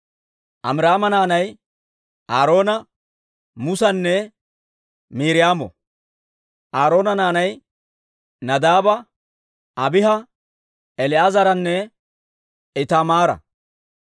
Amiraama naanay Aaroona, Musanne Miiriyaamo. Aaroona naanay Nadaaba, Abiiha, El"aazaranne Itaamaara.